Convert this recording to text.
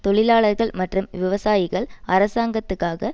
தொழிலாளர்கள் மற்றும் விவசாயிகள் அரசாங்கத்துக்காக